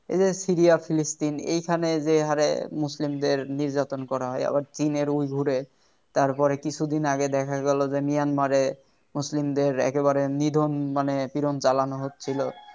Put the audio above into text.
এই যে সিরিয়া ফিলিস্তিন এইখানে যে হারে মুসলিমদের নির্যাতন করা হয় আবার চীনের উইঘুর তারপরে কিছুদিন আগে দেখা গেল যে মিয়ানমারে মুসলিমদের একেবারে নিধন মানে কিরম জালানো হচ্ছিল